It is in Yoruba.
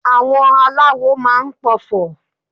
àwọn aláwò ma n p'ọfọ